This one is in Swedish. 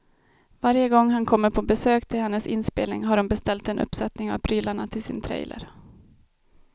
Varje gång han kommer på besök till hennes inspelning har hon beställt en uppsättning av prylarna till sin trailer.